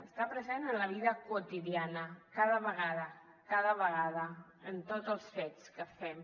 està present en la vida quotidiana cada vegada cada vegada en tots els fets que fem